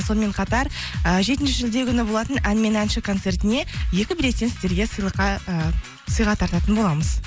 сонымен қатар і жетінші шілде күні болатын ән мен әнші концертіне екі билеттен сіздерге ыыы сыйға тартатын боламыз